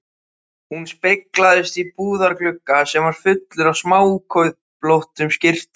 Hún speglaðist í búðarglugga sem var fullur af smáköflóttum skyrtum.